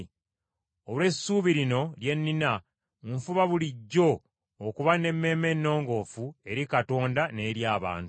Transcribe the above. Olw’essuubi lino lye nnina, nfuba bulijjo okuba n’emmeeme ennongoofu eri Katonda n’eri abantu.